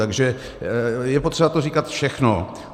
Takže je potřeba to říkat všechno.